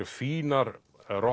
fínar